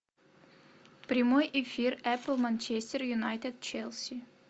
прямой эфир эпл манчестер юнайтед челси